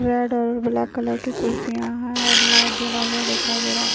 Red और black colour की कुर्सिया है और लाइट जला हुआ दिखाई दे रहा हैं।